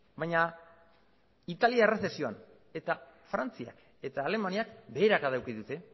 baina italia errezesioan eta frantziak eta alemaniak beherakada eduki dute